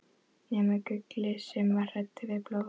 nema Gulli, sem var hræddur við blóð.